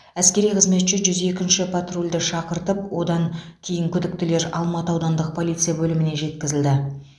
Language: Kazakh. әскери қызметші жүз екінші патрульді шақыртып одан кейін күдіктілер алматы аудандық полиция бөліміне жеткізілді